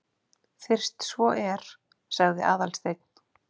Fyrst svo er. sagði Aðalsteinn.